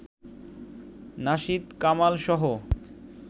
nasheed কামালসহ